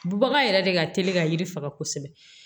Bubaga yɛrɛ de ka teli ka yiri faga kosɛbɛ